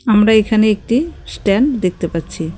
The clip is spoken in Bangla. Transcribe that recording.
আমরা এখানে একটি স্ট্যান্ড দেখতে পাচ্ছি.